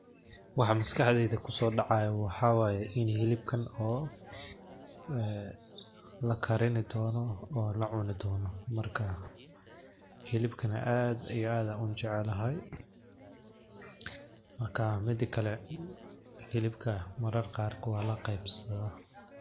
Waxaa maskaxdheyda kusodacayo waxaa waye ini hilibkan oo lakarini dono oo lacuni dono , marka hilibkan ad iyo ad an ujeclhy, marka midi kale hilibka marar qaar walaqebsadhaah.